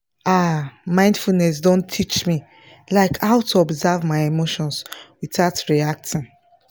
ah mindfulness don teach me like how to observe my emotions without reacting